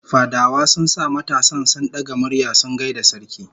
Fadawa sun sa matasan sun daga murya sun gaida sarki